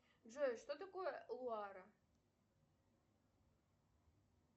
джой что такое луара